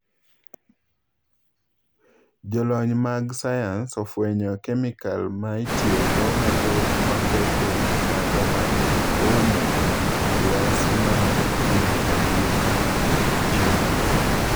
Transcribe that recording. Jolony mag sayans ofwenyo kemikal ma itiyogo mathoth maketho wii tado ma oumo lwasi mar piny epiny China